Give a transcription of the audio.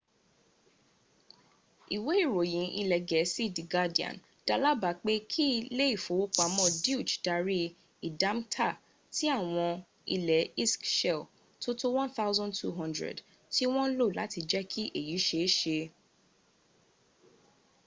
ìwé ìròyìn ilẹ̀ gẹ̀ẹ́sì the guardian da lábàá pé kí ilé ìfowópama deutsche darí ìdámkta ti àwọn ilé iṣk shell tó tó 1200 tí wọ́n lò láti jẹ́ kí èyí ṣe é ṣe